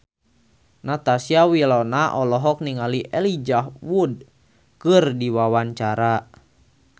Natasha Wilona olohok ningali Elijah Wood keur diwawancara